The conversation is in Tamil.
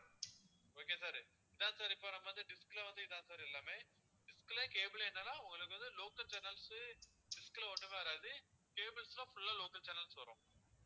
okay sir sir sir இப்போ நம்ப வந்து dish ல வந்து இதான் sir எல்லாமே dish ல cable ல என்னன்னா உங்களுக்கு வந்து local channels dish ல ஒண்ணுமே வராது cables ல full லா local channels வரும். okay யா sir